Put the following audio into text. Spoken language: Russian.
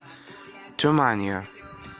туманио